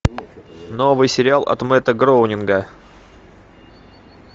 новый сериал от мэтта гроунинга